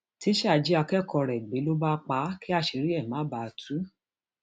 tísá jí akẹkọọ rẹ gbé ló bá pa á kí àṣírí ẹ má bàa tú